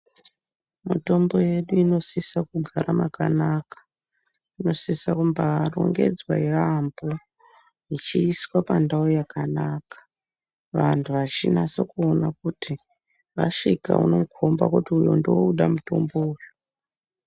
Mitombo yedu inosisa kugara makanaka inosisa kumbarongedzwa yaamho ichiiswa pandau yakanaka vantu vachinasa kuona kuti vasvika unokhomba kuti uyu ndouda mutombo uyu.